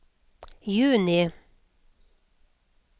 juni